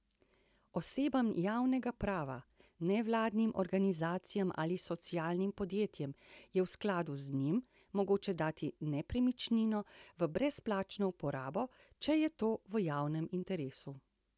Osebam javnega prava, nevladnim organizacijam ali socialnim podjetjem je v skladu z njim mogoče dati nepremičnino v brezplačno uporabo, če je to v javnem interesu.